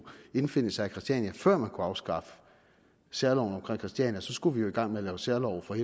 indfinde sig på christiania før man kunne afskaffe særloven om christiania skulle vi jo i gang med at lave særlove for